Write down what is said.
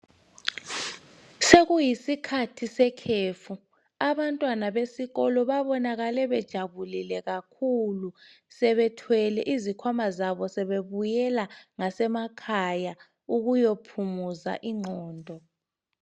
Sokuyisikhathi sekhefu, abantwana besikolo babonakale bejabulile kakhulu sebethwele izikhwama zabo sebebuyela ngasemakhaya ukuyaphumuza ingqondo.